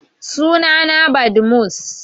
Suna na Badmus